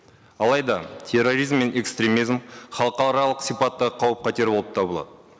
алайда терроризм мен экстремизм халықаралық сипатта қауіп қатері болып табылады